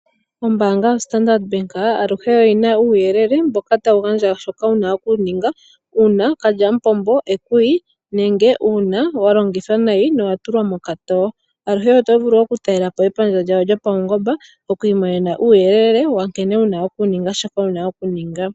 Ombaanga yo Standard bank aluhe oyina uuyelele mboka tawu gandja shoka wuna oku ninga uuna kalyamupombo ekuyi, nenge uuna wa longithwa nayi nowa tulwa mokatoo. Aluhe oto vulu oku talelapo epandja lyawo lyopaungomba okwii monena uuyelele wa nkene wuna oku ninga shoka wuna okuninga.